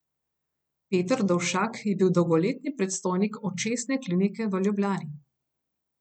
Peter Dovšak je bil dolgoletni predstojnik Očesne klinike v Ljubljani.